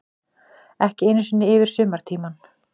Ekki einu sinni yfir sumartímann.